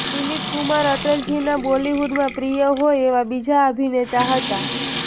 દિલીપ કુમાર અટલજીના બોલિવૂડમાં પ્રિય હોય એવા બીજા અભિનેતા હતા